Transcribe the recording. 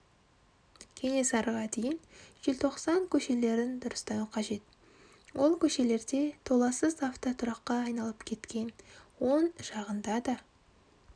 кенесарыға дейін желтоқсан көшелерін дұрыстау қажет ол көшелерде толассыз автотұраққа айналып кеткен оң жағында да